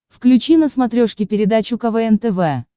включи на смотрешке передачу квн тв